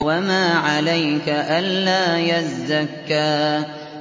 وَمَا عَلَيْكَ أَلَّا يَزَّكَّىٰ